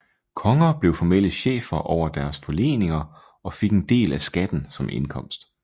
Konger blev formelle chefer over deres forleninger og fik en del af skatten som indkomst